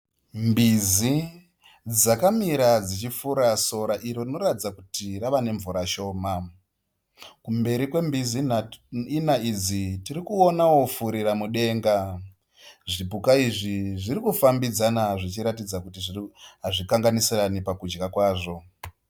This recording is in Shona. Mbizi dzakamira dzichifura sora iro rinoratidza kuti rava nemvura shoma. Kumberi kwembizi ina idzi tirikuonawo furiramudenga. Zvipuka izvi zvirikufambidzana zvichiratidza kuti hazvikanganisirane pakudya kwazvo.